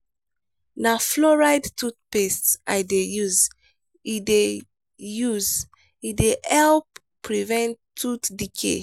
na fluoride toothpaste i dey use e dey use e dey help prevent tooth decay.